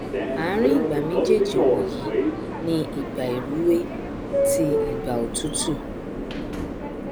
ààrin ìgbà méjéèjì wọnyí ni ìgbà ìrúwé tí ìgbà òtútù